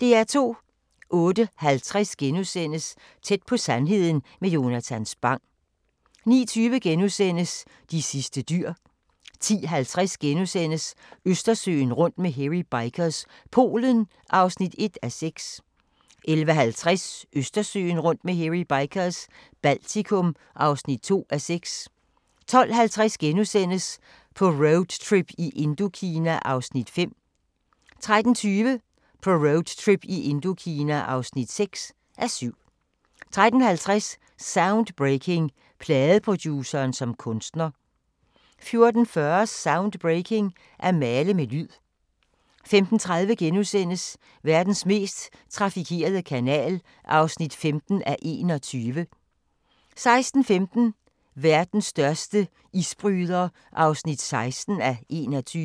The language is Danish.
08:50: Tæt på sandheden med Jonatan Spang * 09:20: De sidste dyr * 10:50: Østersøen rundt med Hairy Bikers – Polen (1:6)* 11:50: Østersøen rundt med Hairy Bikers – Baltikum (2:6) 12:50: På roadtrip i Indokina (5:7)* 13:20: På roadtrip i Indokina (6:7) 13:50: Soundbreaking – Pladeproduceren som kunstner 14:40: Soundbreaking – At male med lyd 15:30: Verdens mest trafikerede kanal (15:21)* 16:15: Verdens største isbryder (16:21)